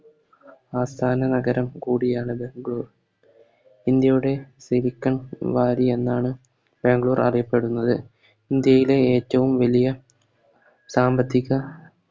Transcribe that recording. ആസ്ഥാന നഗരം കൂടിയാണിത് ഗോ ഇന്ത്യയുടെ സിലിക്കൻ വാലി എന്നാണ് ബാംഗ്ലൂർ അറിയപ്പെടുന്നത് ഇന്ത്യയിലെ ഏറ്റോം വലിയ സാമ്പത്തിക